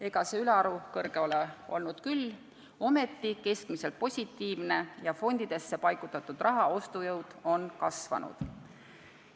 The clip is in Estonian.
Ega see ülearu kõrge ole olnud küll, aga see on keskmiselt positiivne ja fondidesse paigutatud raha ostujõud on kasvanud.